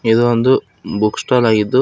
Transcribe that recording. ಇದು ಒಂದು book stall ಆಗಿದ್ದು--